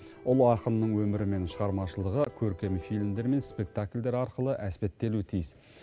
ұлы ақынның өмірі мен шығармашылығы көркем фильмдер мен спектакльдер арқылы әспеттелуі тиіс